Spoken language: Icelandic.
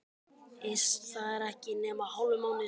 Iss, það er ekki nema hálfur mánuður síðan.